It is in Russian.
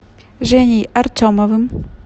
женей артемовым